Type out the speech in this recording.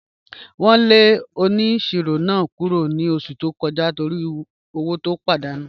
Wọn lẹ ọniṣirọ̀ náà kúrọ̀ ni ọṣù tó kọja nítorí ọwọ̀ tí ó pàdánù